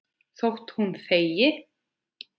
Þótt hún þegi.